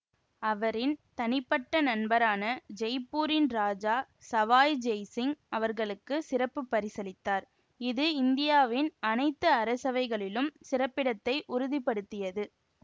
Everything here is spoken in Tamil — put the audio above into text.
அவரின் தனிப்பட்ட நண்பரான ஜெய்ப்பூரின் ராஜா சவாய் ஜெய் சிங் அவர்களுக்கு சிறப்பு பரிசளித்தார் இது இந்தியாவின் அனைத்து அரசவைகளிலும் சிறப்பிடத்தை உறுதி படுத்தியது